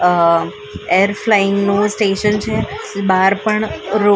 અ air flying નું station છે બાર પણ રો --